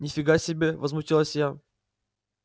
ни фига себе возмутилась я